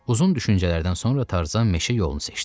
Uzun düşüncələrdən sonra Tarzan meşə yolunu seçdi.